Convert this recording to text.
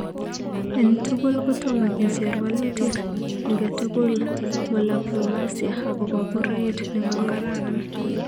En tugul kotoma kijer walutik angetukul molaplomasia agopa puraet ne ma karan